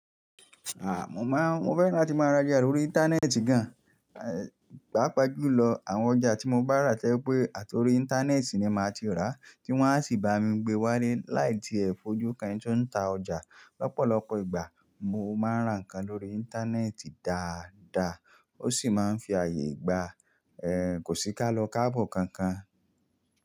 À, mo má, mo fẹ́ràn láti máa ra ọjà lórí Íńtánẹ́ẹ̀tì gan. Pápa jù lọ, àwọn ọjà tí mo bá rà tẹ́lẹ̀ pé àti orí Íńtánẹ́ẹ̀tì ni màá ti rà, tí wọ́n á sì bá mi gbé wá dé láì di è fojú kan tí ó ń ta ọjà. Lọ́pọ̀lọ́pọ̀ ìgbà, mo máa ń rà nǹkan lórí Íńtánẹ́ẹ̀tì dáadaa. Ó sì máa ń fi ààyè gba kò sí ká lọ káàbọ̀ kankan.